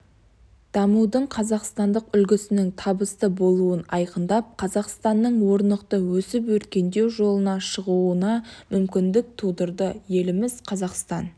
дамудың қазақстандық үлгісінің табысты болуын айқындап қазақстанның орнықты өсіп-өркендеу жолына шығуына мүмкіндік тудырды еліміз қазақстан